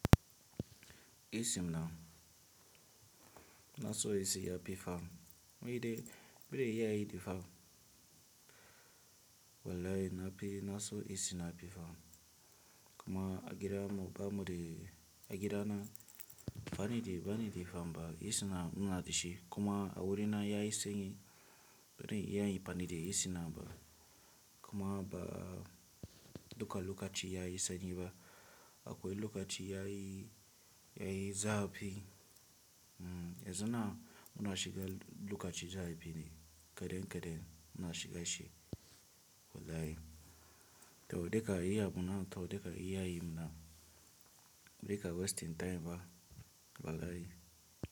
Isi m na naso isi ya pifa, ma idan bori ya yi da fama. Wallahi na p- naso isina pifa kuma agida mu ba mu de agidana. Bani de bani de fama isina ina dashi kuma a wuri na ya yisanyi barin ya yi amfani de AC ba kuma ba duka lokaci ya yisanyi ba. Akwai lokaci ya yi ya yi zafi. Hmm, yanzu na muna shiga lokaci zafi ne kadan kadan muna shiga shi wallahi. Tau dika iya muna tau dika iya yi muna bori ka wasting time ba wallahi.